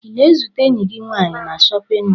Ị na-ezute enyi gị nwaanyị na chọpịn mọọlụ?